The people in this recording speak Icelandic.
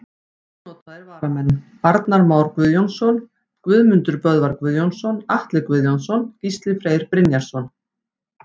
Ónotaðir varamenn: Arnar Már Guðjónsson, Guðmundur Böðvar Guðjónsson, Atli Guðjónsson, Gísli Freyr Brynjarsson.